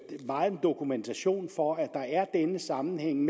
meget dokumentation for at der er denne sammenhæng